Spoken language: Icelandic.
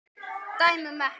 Dæmum ekki.